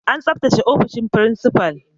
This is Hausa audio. An tsabtace ofishin principal.